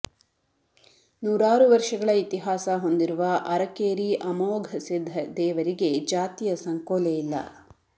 ನೂರಾರು ವರ್ಷಗಳ ಇತಿಹಾಸ ಹೊಂದಿರುವ ಅರಕೇರಿ ಅಮೋಘಸಿದ್ದ ದೇವರಿಗೆ ಜಾತಿಯ ಸಂಕೋಲೆಯಿಲ್ಲ